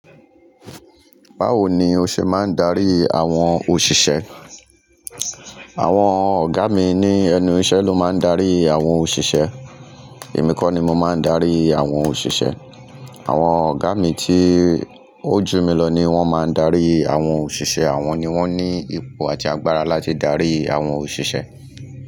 Báwo ni o ṣe máa ń darí àwọn òṣìṣẹ́? Àwọn ọ̀gá mi ní ẹnu ìṣẹ́ ló máa ń darí àwọn òṣìṣẹ́. Èmi kọ́ ni mo máa ń darí àwọn òṣìṣẹ́. Àwọn ọ̀gá mi tí ó jù mí lọ ni wọ́n máa ń darí àwọn òṣìṣẹ́. Àwọn ni wọ́n ní ipò àti agbára láti darí àwọn òṣìṣẹ́.